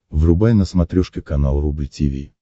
врубай на смотрешке канал рубль ти ви